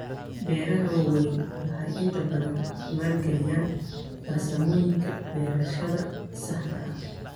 Beeraha waaweyni waxay inta badan maalgeliyaan farsamooyinka beerashada saxda ah.